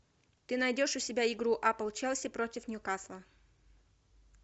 ты найдешь у себя игру апл челси против ньюкасла